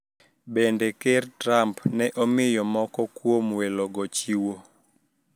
Bende Ker Trump ne omiyo moko kuom welogo chiwo